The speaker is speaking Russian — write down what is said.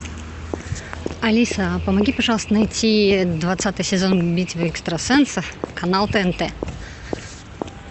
алиса помоги пожалуйста найти двадцатый сезон битвы экстрасенсов канал тнт